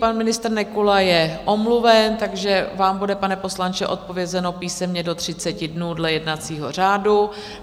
Pan ministr Nekula je omluven, takže vám bude, pane poslanče, odpovězeno písemně do 30 dnů dle jednacího řádu.